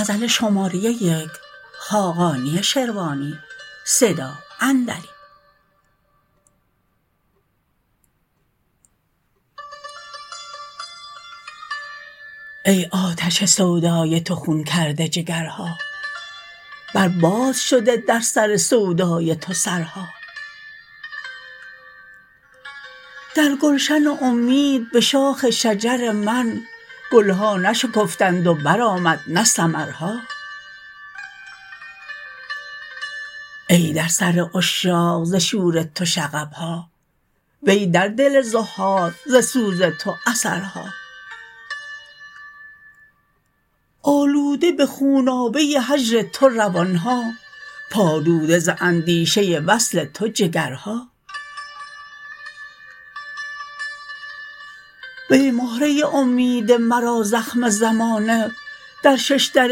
ای آتش سودای تو خون کرده جگرها بر باد شده در سر سودای تو سرها در گلشن امید به شاخ شجر من گل ها نشکفتند و برآمد نه ثمرها ای در سر عشاق ز شور تو شغب ها وی در دل زهاد ز سوز تو اثرها آلوده به خونابه هجر تو روان ها پالوده ز اندیشه وصل تو جگرها وی مهره امید مرا زخم زمانه در شش در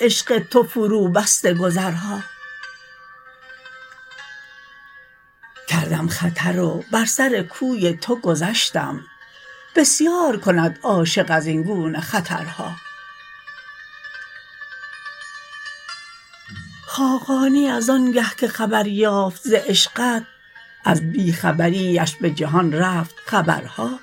عشق تو فروبسته گذرها کردم خطر و بر سر کوی تو گذشتم بسیار کند عاشق از این گونه خطرها خاقانی از آن گه که خبر یافت ز عشقت از بی خبری اش به جهان رفت خبرها